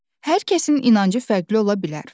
Hər kəsin inancı fərqli ola bilər.